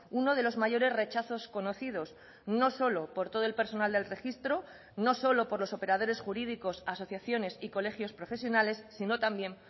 uno de los mayores rechazos conocidos no solo por todo el personal del registro no solo por los operadores jurídicos asociaciones y colegios profesionales sino también